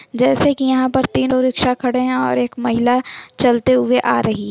जैसे की यहाँ पर तीनों रिक्शे खड़े हैं और एक महिला चलते हुए आ रही---